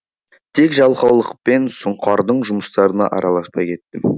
тек жалқаулықпен сұңқардың жұмыстарына араласпай кеттім